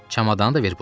Çamadanı da ver bura.